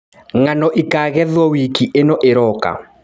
Ngano ĩkagethwo wiki ĩno ĩroka.